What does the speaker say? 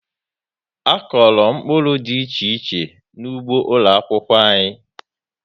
A kọrọ mkpụrụ dị iche iche n'ụgbọ ụlọ akwụkwọ anyị